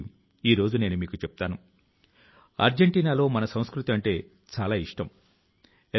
అక్కడి నుంచి ప్లాస్టిక్ వ్యర్థాల ను తొలగించి రీసైక్లింగ్ కోసం సేకరించారు